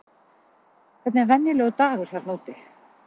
Hvernig er venjulegur dagur þarna úti?